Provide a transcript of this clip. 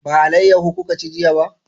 Ba alayaho kuka ci jiya ba?